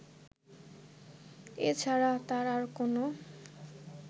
এ ছাড়া তার আর কোন